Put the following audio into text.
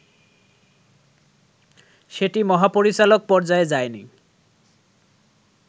সেটি মহাপরিচালক পর্যায়ে যায়নি